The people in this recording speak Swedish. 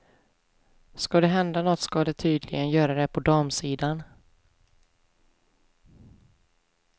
Skall det hända nåt skall det tydligen göra det på damsidan.